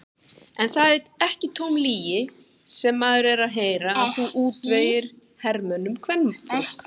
Er það ekki tóm lygi sem maður er að heyra að þú útvegir hermönnunum kvenfólk?